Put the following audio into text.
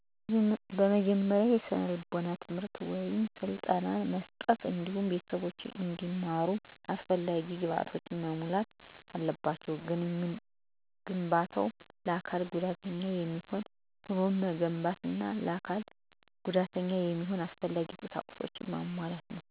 በመጀመሪያ የስነልቦና ትምህርት ወይም ስልጠና መስጠት እንዲሁም ቤተሰቦቻቸው እንዲመሩ አሰፈላጊ ግብዓቶችን መሞላት አለባቸው። ግንባታው ለአካል ጉዳተኞች የሚሆን ሁኖ መገንባት አና ለአካል ጉዳተኛ የሚሆን አስፈላጊ ቁሳቁስ መሟላት